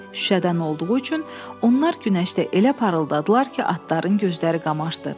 Şüşədən olduğu üçün onlar günəşdə elə parıldadılar ki, atların gözləri qamaşdı.